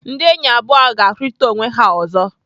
Ndị enyi abụọ ahụ ga-ahụrịta onwe ha ọzọ.